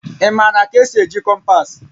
Ị maara ka esi eji kompas?